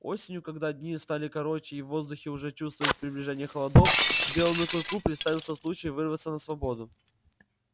осенью когда дни стали короче и в воздухе уже чувствовались приближение холодов белому клыку представился случай вырваться на свободу